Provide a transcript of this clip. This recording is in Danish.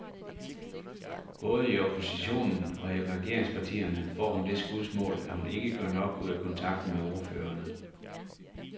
Både i oppositionen og i regeringspartierne får hun det skudsmål, at hun ikke gør nok ud af kontakten med ordførerne.